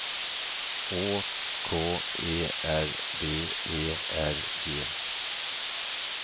Å K E R B E R G